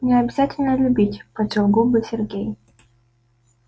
не обязательно любить поджал губы сергей